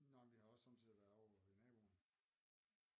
Nå men vi har også sommetider været ovre ved naboen